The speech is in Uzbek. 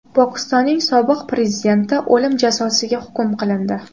Pokistonning sobiq prezidenti o‘lim jazosiga hukm qilindi.